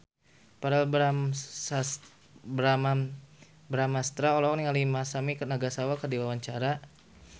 Verrell Bramastra olohok ningali Masami Nagasawa keur diwawancara